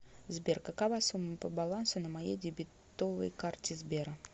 сбер какова сумма по балансу на моей дебетовой карте сбера